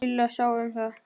Lilla sá um það.